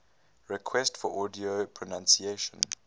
requests for audio pronunciation